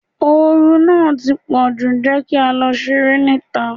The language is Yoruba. Oru náà ti pọ̀jù, jẹ́ kí á lọ ṣeré ní ìta.